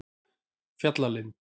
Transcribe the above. Fjallalind